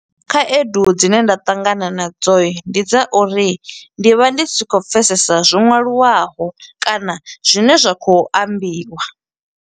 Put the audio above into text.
Khaedu dzine nda ṱangana na dzo, ndi dza uri ndi vha ndi si khou pfesesa zwo ṅwaliwaho, kana zwine zwa khou ambiwa.